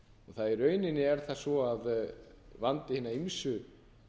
bankahruninu í rauninni er það svo að vandi hinna ýmsu